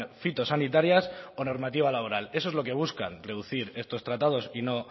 fitosanitarias o normativa laboral eso es lo que buscan reducir estos tratados y no